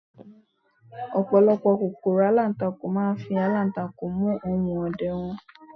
ọpọlọpọ kòkòrò alantakun ma n fi alantakun mu ohun ọdẹ wan